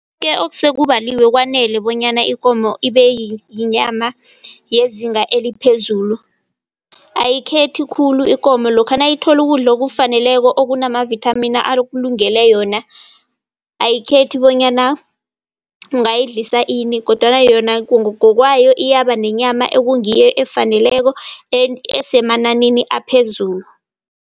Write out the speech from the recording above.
Ke okuse kubaliwe kwanele bonyana ikomo ibe yinyama yezinga eliphezulu. Ayikhethi khulu ikomo lokha nayithola ukudla okufaneleko okunamavithamini alungele yona. Ayikhethi bonyana ungayidlisa ini kodwana yona ngokwayo iyaba nenyama ekungiyo, efaneleko esemananini aphezulu.